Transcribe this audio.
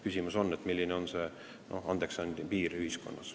Küsimus on, milline on andeksandmise piir ühiskonnas.